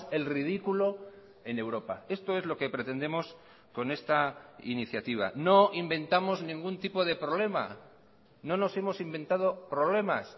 el ridículo en europa esto es lo que pretendemos con esta iniciativa no inventamos ningún tipo de problema no nos hemos inventado problemas